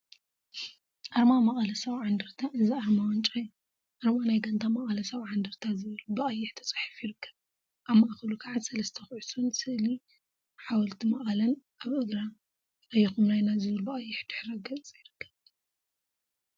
አርማ መቐለ 70 እንደርታ እዚ አርማ ዋንጫ እዩ፡፡ አርማ ናይ ጋንታ መቐለ 70 እንደርታ ዝብል ብቀይሕ ተፃሒፉ ይርከብ፡፡ አብ ማእከሉ ካዓ ሰለስተ ኩዕሶን ስእሊ ሓወልቲ መቀለን አብ እግራ “አየኩም ናይና” ዝብል ብቀይሕ ድሕረ ገፅ ይርከብ፡፡